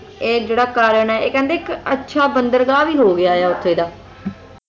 ਇਹ ਜਿਹੜਾ ਕਾਰਨ ਹੈ ਇਹ ਕਹਿੰਦੇ ਇੱਕ ਅੱਛਾ ਬੰਦਰਗਾਹ ਵੀ ਹੋ ਗਿਆ ਹੈ ਉੱਥੇ ਦਾ